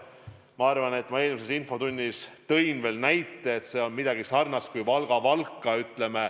Ma arvan, et ma eelmises infotunnis tõin näite, et see on midagi sarnast kui Valga ja Valka vahel.